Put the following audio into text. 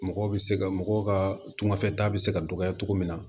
Mɔgɔw bɛ se ka mɔgɔw ka tunganfɛta bɛ se ka dɔgɔya cogo min na